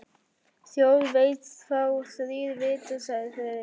Þjóð veit þá þrír vita sagði Friðrik.